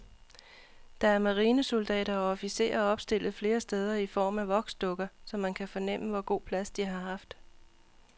Der er marinesoldater og officerer opstillet flere steder i form af voksdukker, så man kan fornemme, hvor god plads de har haft.